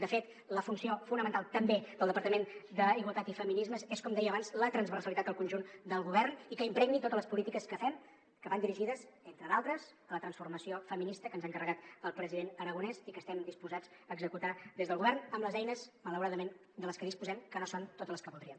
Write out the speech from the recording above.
de fet la funció fonamental també del departament d’igualtat i feminismes és com deia abans la transversalitat al conjunt del govern i que impregni totes les polítiques que fem que van dirigides entre d’altres a la transformació feminista que ens ha encarregat el president aragonès i que estem disposats a executar des del govern amb les eines malauradament de les que disposem que no són totes les que voldríem